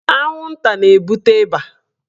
Anwụnta na-ebute ịba.